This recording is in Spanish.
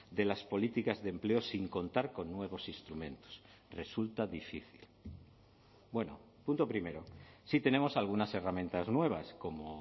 de las políticas de empleo sin contar con nuevos instrumentos resulta difícil bueno punto primero sí tenemos algunas herramientas nuevas como